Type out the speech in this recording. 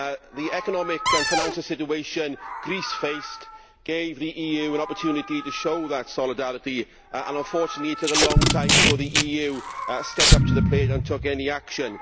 The economic and financial situation Greece faced gave the EU an opportunity to show such solidarity, and unfortunately it took a long time before the EU stepped up to the plate and took any action.